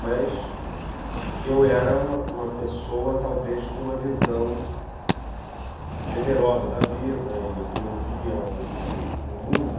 Mas eu era uma uma pessoa, talvez, com uma visão generosa da vida, e eu via o o o mundo...